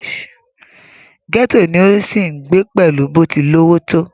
gẹ́tò ni ó ń sì ń gbé pẹ̀lú bó ti lówó tó